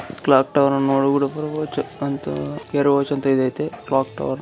clock tower ನೋಡು ಅಂತ ಯೋಚನೆ ಇ ಕ್ಲಾಕ್‌ಟವರ್--